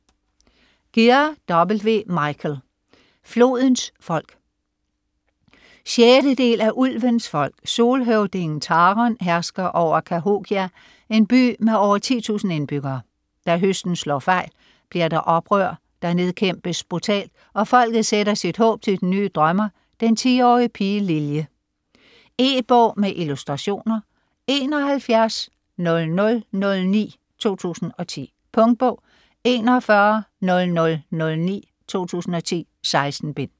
Gear, W. Michael: Flodens folk 6. del af Ulvens folk. Solhøvdingen Tharon hersker over Cahokia, en by med over 10.000 indbyggere. Da høsten slår fejl, bliver der oprør, der nedkæmpes brutalt, og folket sætter sit håb til den nye Drømmer, den 10-årige pige Lilje. E-bog med illustrationer 710009 2010. Punktbog 410009 2010. 16 bind.